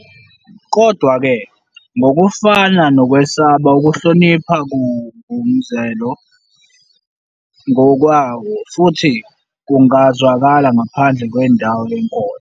Kodwa-ke, ngokufana nokwesaba, ukuhlonipha kungumzwelo ngokwawo, futhi kungazwakala ngaphandle kwendawo yenkolo.